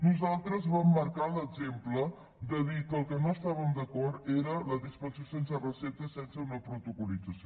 nosaltres vam marcar l’exemple de dir que amb el que no estàvem d’acord era amb la dispensació sense recepta sense una protocol·lització